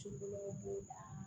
Cokola b'o la